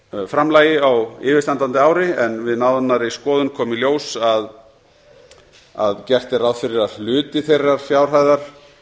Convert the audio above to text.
framlagi á yfirstandandi ári en við nánari skoðun kom í ljós að gert er ráð fyrir að hluti þeirrar fjárhæðar